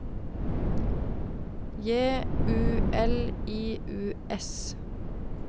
J U L I U S